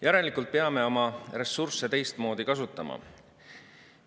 Järelikult peame oma ressursse teistmoodi kasutama.